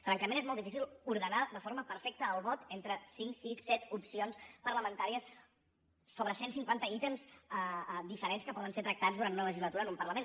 francament és molt difícil ordenar de forma perfecta el vot entre cinc sis set opcions parlamentàries sobre cent cinquanta ítems diferents que poden ser tractats durant una legislatura en un parlament